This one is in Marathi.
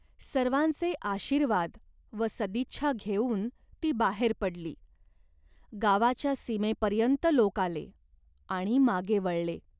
सर्वांचे आशीर्वाद व सदिच्छा घेऊन ती बाहेर पडली. गावाच्या सीमेपर्यंत लोक आले आणि मागे वळले.